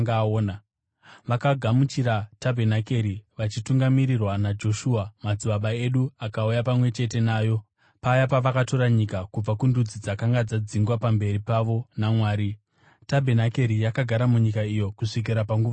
Vakagamuchira tabhenakeri, vachitungamirirwa naJoshua, madzibaba edu akauya pamwe chete nayo paya pavakatora nyika kubva kundudzi dzakanga dzadzingwa pamberi pavo naMwari. Tabhenakeri yakagara munyika iyo kusvikira panguva yaDhavhidhi,